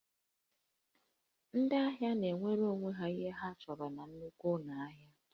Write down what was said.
Ndị ahịa na-ewere ihe ndị ha chọrọ n'onwe ha na nnukwu ụlọ ahịa